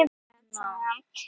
Það má aldrei spyrjast út.